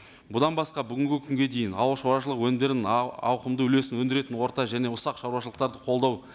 бұдан басқа бүгінгі күнге дейін ауыл шаруашылығы өнімдерін ауқымды үлесін өндіретін орта және ұсақ шаруашылықтарды қолдау